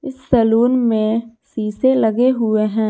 Salon में शीशे लगे हुए हैं।